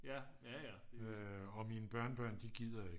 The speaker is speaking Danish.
og mine børnebørn de gider ikke